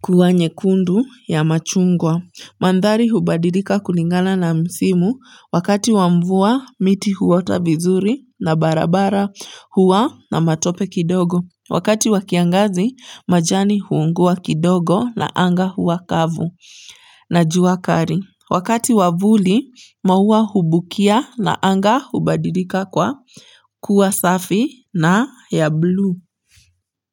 kuwa nyekundu ya machungwa. Mandhari hubadilika kulingana na msimu wakati wa mvua miti huota vizuri na barabara huwa na matope kidogo. Wakati wa kiangazi majani huungua kidogo na anga huwa kavu na jua kali. Wakati wa vuli maua hubukia na anga hubadilika kwa kuwa safi na ya blue.